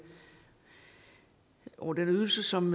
over den ydelse som